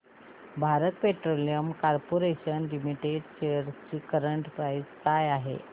Bharat petroleum corporation limited shares ची current price काय आहे